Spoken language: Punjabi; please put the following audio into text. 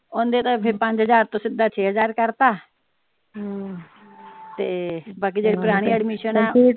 ਓਂਦੇ ਤਾ ਫਿਰ ਪੰਜ ਹਜ਼ਾਰ ਤੋਂ ਸਿੱਧਾ ਛੇ ਹਜ਼ਾਰ ਕਰਤਾ ਤੇ ਬਾਕੀ ਜਿਹੜੇ ਪੁਰਾਣੀ ਏਡਮਿਸ਼ਨ ਆ